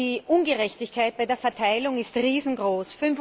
Die Ungerechtigkeit bei der Verteilung ist riesengroß.